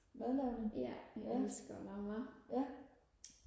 madlavning ja ja